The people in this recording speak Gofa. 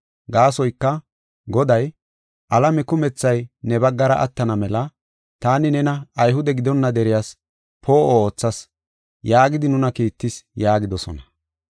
Gaasoyka Goday, “ ‘Alame kumethay ne baggara attana mela, taani nena Ayhude gidonna deriyas poo7o oothas’ yaagidi nuna kiittis” yaagidosona.